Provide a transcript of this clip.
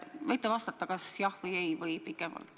Võite vastata "jah" või "ei" või pikemalt.